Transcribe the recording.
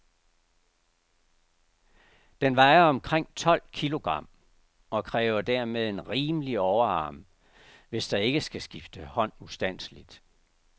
Den vejer omkring tolv kilogram, og kræver dermed en rimelig overarm, hvis der ikke skal skifte hånd ustandseligt.